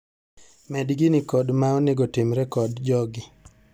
Med gini kod ma onego timre kod jogi.